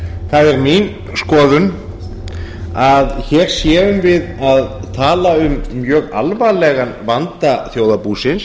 er mín skoðun að hér séum við að tala um mjög alvarlegan vanda þjóðarbúsins